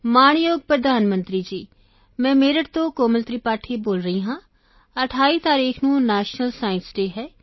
ਮਾਣਯੋਗ ਪ੍ਰਧਾਨ ਮੰਤਰੀ ਜੀ ਮੈਂ ਮੇਰਠ ਤੋਂ ਕੋਮਲ ਤ੍ਰਿਪਾਠੀ ਬੋਲ ਰਹੀ ਹਾਂ 28 ਤਾਰੀਖ ਨੂੰ ਨੈਸ਼ਨਲ ਸਾਇੰਸ ਡੇਅ ਹੈ